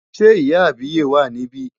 Ṣé ìyá àbíyè wà níbí?